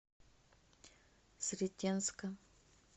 сретенска